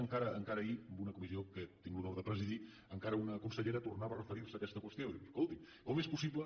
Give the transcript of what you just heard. encara ahir en una comissió que tinc l’honor de presidir encara una consellera tornava a referir se a aquesta qüestió i diu escolti com és possible